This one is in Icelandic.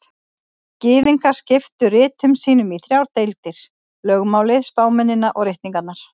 Gyðingar skiptu ritum sínum í þrjár deildir: Lögmálið, spámennina og ritningarnar.